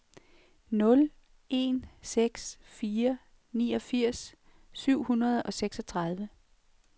nul en seks fire niogfirs syv hundrede og seksogtredive